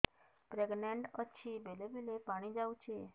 pregnant ଅଛି ବେଳେ ବେଳେ ପାଣି ଯାଉଛି